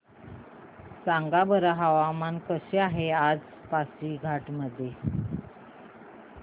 सांगा बरं हवामान कसे आहे आज पासीघाट मध्ये